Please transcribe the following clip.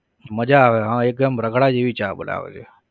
મજા આવે હા એકદમ રગડા જેવી ચા બનાવે છે.